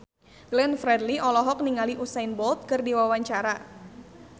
Glenn Fredly olohok ningali Usain Bolt keur diwawancara